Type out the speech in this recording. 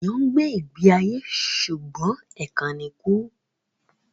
Ènìyàn ń gbé ìgbé ayé ṣùgbọ́n ẹ̀kan ni kú